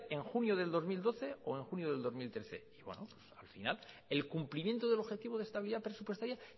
en junio de dos mil doce o en junio del dos mil trece y bueno pues al final el cumplimiento del objetivo de estabilidad presupuestaria